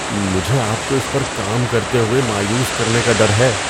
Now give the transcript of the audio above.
مجھے آپ کو اس پر کام کرتے ہوئے مایوس کرنے کا ڈر ہے۔